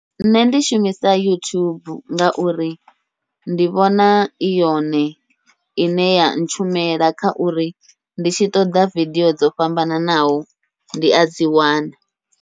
Nṋe ndi shumisa youtube, ngauri ndi vhona i yone ine ya ntshumela kha uri ndi tshi ṱoḓa video dzo fhambananaho ndi adzi wana.